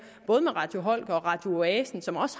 både med radio holger og radio oasen som også